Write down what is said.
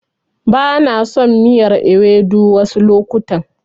Bana son miyar Ewedu wasu lokutan.